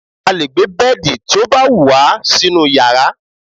a lè gbé bẹ́ẹ̀dì tí ó bá wù wá sínú yàrá